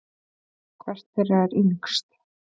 Hvert þeirra er yngst?